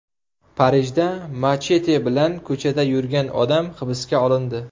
Parijda machete bilan ko‘chada yurgan odam hibsga olindi.